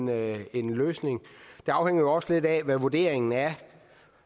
være en løsning det afhænger jo også lidt af hvad vurderingen er